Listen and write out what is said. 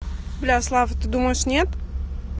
бля слав а ты думаешь нет